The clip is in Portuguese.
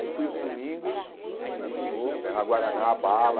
Aí fui outro domingo, olhei de novo né, a guaraná, a bala.